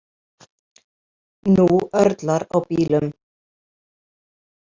Nú örlar á bílum.